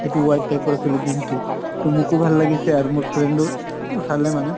এইটো white type ৰ আছিলে jeans টো, তʼ মোকো ভাল লাগিছে আৰু মোৰ friend ও চালে মানে